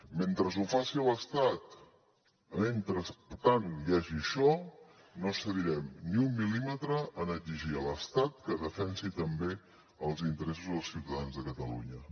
mentre ho faci l’estat mentrestant hi hagi això no cedirem ni un mil·límetre en exigir a l’estat que defensi també els interessos dels ciutadans de catalunya